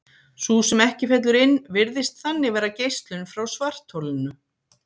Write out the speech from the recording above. Sú sem ekki fellur inn virðist þannig vera geislun frá svartholinu.